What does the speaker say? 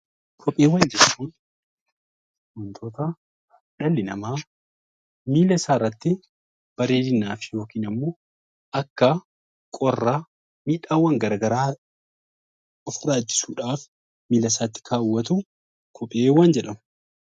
Kopheewwaan jechuun wantoota dhalli nama miilla isaa irratti bareedinaaf yookiin immoo akka qorra miidhawwaan garagaraa of-jiraachiisuudhaf miilla isaatti kawwatu kopheewwan jedhamu.